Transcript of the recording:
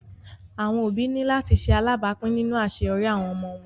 Awọn obi ni lati ṣe alabapin ninu aṣeyọri awọn ọmọ wọn